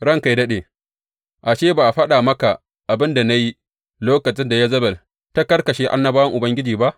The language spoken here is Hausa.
Ranka yă daɗe, ashe, ba a faɗa maka abin da na yi lokacin da Yezebel ta karkashe annabawan Ubangiji ba?